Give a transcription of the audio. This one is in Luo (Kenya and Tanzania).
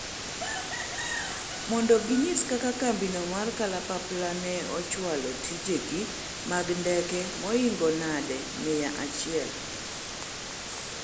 mondo ginyis kaka kambino mar kalapapla ne ochwalo tijege mag ndeke moingo nadi mia achiel